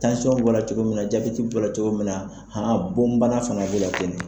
Tansiyɔn bɔra cogo min na, jabɛti bɔra cogo min na, bon bana fana b'o la ten de.